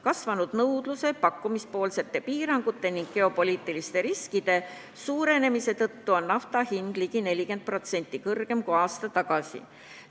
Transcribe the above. Kasvanud nõudluse, pakkumisele kehtestatud piirangute ning geopoliitiliste riskide suurenemise tõttu on nafta hind ligi 40% kõrgem kui aasta tagasi.